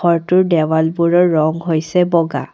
ঘৰটোৰ দেৱালবোৰৰ ৰং হৈছে বগা।